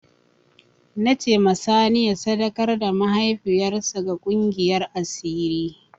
Na ce ma sani ya sadakar da mahaifiyar sa ga ƙungiyar asiri